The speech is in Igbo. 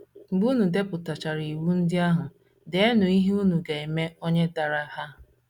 Mgbe unu depụtachara iwu ndị ahụ, deenụ ihe unu ga - eme onye dara ha.